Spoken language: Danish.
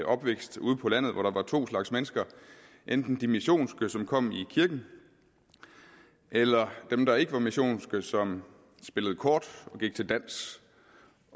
opvækst ude på landet hvor der var to slags mennesker enten de missionske som kom i kirken eller dem der ikke var missionske som spillede kort og gik til dans